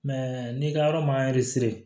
n'i ka yɔrɔ ma